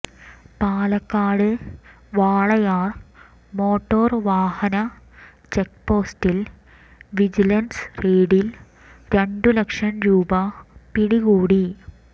Palakkad Walayar motor വാഹന ചെക്പോസ്റ്റിൽ vigilance റെയ്ഡിൽ രണ്ടു ലക്ഷം രൂപ പിടികൂടി